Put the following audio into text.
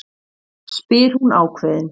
spyr hún ákveðin.